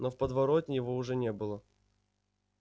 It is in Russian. но в подворотне его уже не было